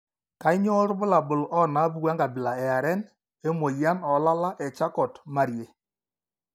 Kainyio irbulabul onaapuku enkabila eareN emuoyian oolala eCharcot Mariee?